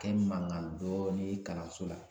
Kɛ mankan dɔɔnin ye kalanso la